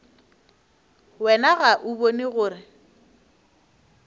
wena ga o bone gore